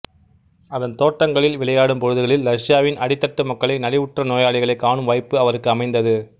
அதன் தோட்டங்களில் விளையாடும் பொழுதுகளில் ரஷ்யாவின் அடித்தட்டு மக்களை நலிவுற்ற நோயாளிகளை காணும் வாய்ப்பு அவருக்கு அமைந்தது